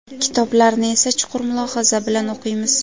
Kitoblarni esa chuqur mulohaza bilan o‘qiymiz.